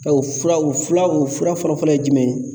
Bawu furaw fulaw fura fɔlɔ-fɔlɔ ye jumɛn ye?